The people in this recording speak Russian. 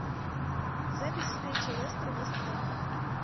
запись встречи лестер вест хэм